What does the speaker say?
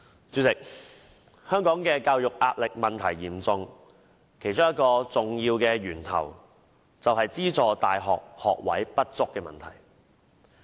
主席，香港的教育壓力問題嚴重，其中一個重要的源頭便是資助大學學位不足的問題。